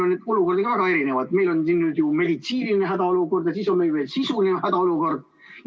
Neid olukordi on väga erinevaid, meil on siin ju meditsiiniline hädaolukord ja siis on meil veel sisuline hädaolukord.